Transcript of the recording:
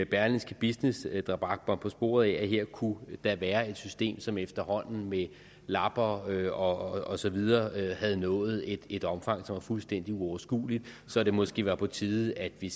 berlingske business der bragte mig på sporet af at her kunne der være et system som efterhånden med lapper og og så videre havde nået et et omfang som er fuldstændig uoverskueligt så det måske var på tide at vi